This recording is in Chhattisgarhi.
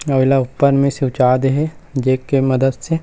अउ एला ऊपर मे सिवचा दे हे जेक के मदत से--